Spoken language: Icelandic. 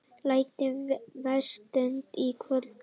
Lægir vestantil Í kvöld